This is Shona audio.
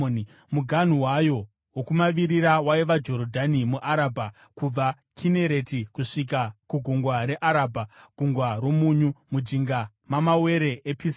Muganhu wayo wokumavirira waiva Jorodhani muArabha, kubva Kinereti kusvika kuGungwa reArabha (Gungwa roMunyu), mujinga mamawere ePisiga.